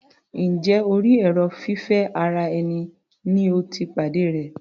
Njẹ́ orí èrò fífẹ́ ara ẹni ni o ti pàdé rẹ̀?